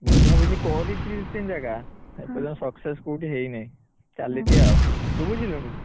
ବୁଝା ବୁଝି କରିଥିଲି ଦି ତିନି ଜାଗା, ହେଲେ success କୋଉଠି ହେଇନାଇ, ଚାଲିଛି ଆଉ ତୁ ବୁଝିଲୁଣି?